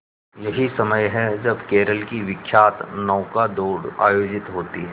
यही समय है जब केरल की विख्यात नौका दौड़ आयोजित होती है